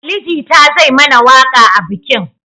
Ali Jita zai mana waƙa a bikin